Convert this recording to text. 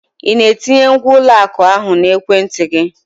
Ị na-etinye ngwa ụlọ akụ ahụ na ekwentị gị?